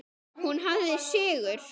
Hún hafði sigur.